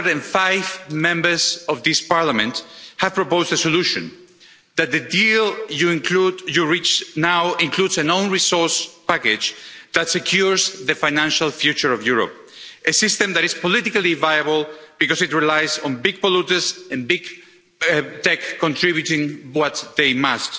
505 Members of this Parliament have proposed a solution, namely that the deal you reach now includes an own resource package that secures the financial future of Europe, a system that is politically viable because it relies on big polluters and big tech contributing what they must.